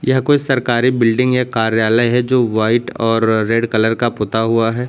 या कोई सरकारी बिल्डिंग या कार्यालय है जो वाइट और रेड कलर का पूता हुआ है।